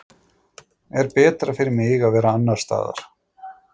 Er betra fyrir mig að vera annars staðar?